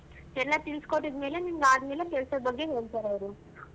ಎಲ್ಲಾ ತಿಳ್ಸ್ಕೊಟ್ಟಿದ್ ಮೇಲೆ ನಿನ್ಗ್ ಆದ್ಮೇಲೆ ಕೆಲ್ಸದ್ ಬಗ್ಗೆ ಹೇಳ್ತಾರೆ ಅವ್ರು.